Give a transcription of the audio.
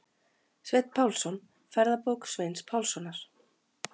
Sveinn Pálsson: Ferðabók Sveins Pálssonar.